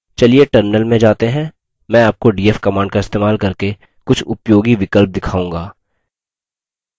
चलिए terminal में जाते हैं मैं आपको df command का इस्तेमाल करके कुछ उपयोगी विकल्प दिखाऊँगा